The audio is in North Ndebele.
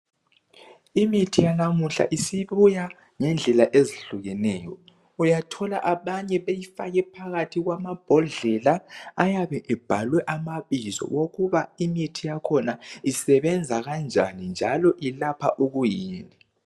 Imithi yanamuhla isibuya ngendlela ezihlukeneyo uyathola abanye beyifake phakathi kwamambodlela ayabe ebhalwe amabizo wokuba imithi yakhona isebenza kanjani njalo ilapha ikuyini.